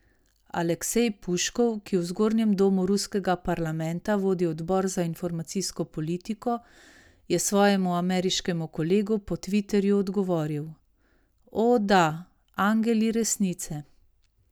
Aleksej Puškov, ki v zgornjem domu ruskega parlamenta vodi odbor za informacijsko politiko, je svojemu ameriškemu kolegu po tviterju odgovoril: "O, da, angeli resnice.